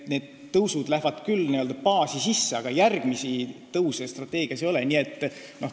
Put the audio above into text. Need tõusud lähevad küll n-ö baasi sisse, aga järgmisi tõuse strateegias ette nähtud ei ole.